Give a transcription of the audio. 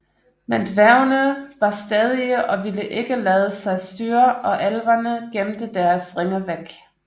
Men dværgene var stædige og ville ikke lade sig styre og elverne gemte deres ringe væk